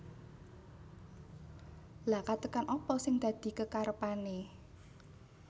Lha katekan apa sing dadi kekarepane